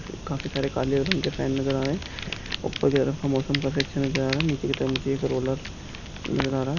काफी सारे काले रंग के फैन नजर आ रहे हैं उपर कि तरफ क मौसम काफी अच्छा नजर आ रहे हैं नीचे कि तरफ़् मुझे एक रोल्लर नजर आ रहा है।